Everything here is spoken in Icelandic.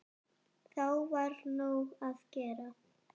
Þá var nóg að gera.